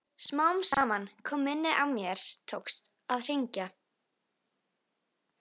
Smám saman kom minnið og mér tókst að hringja.